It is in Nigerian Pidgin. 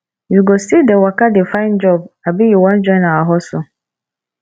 you go still dey waka dey find job abi you wan join our hustle